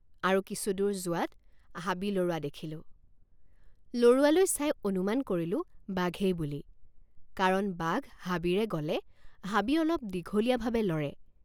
আৰু কিছুদূৰ যোৱাত হাবি লৰোৱা দেখিলোঁ লৰোৱালৈ চাই অনুমান কৰিলোঁ বাঘেই বুলি কাৰণ বাঘ হাবিৰে গলে হাবি অলপ দীঘলীয়াভাৱে লৰে।